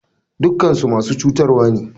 Dukakansu masu cutarwane.